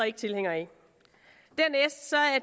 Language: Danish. ikke tilhængere af